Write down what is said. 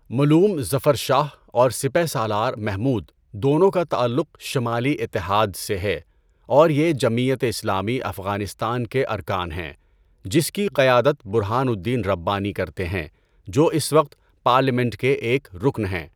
ملوم ظفر شاہ اور سپہ سالار محمود دونوں کا تعلق 'شمالی اتحاد' سے ہے اور یہ جمعیت اسلامی افغانستان کے ارکان ہیں جس کی قیادت برہان الدین ربانی کرتے ہیں جو اس وقت پارلیمنٹ کے ایک رکن ہیں۔